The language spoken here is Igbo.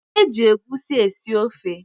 E ji egwusi esi ofe.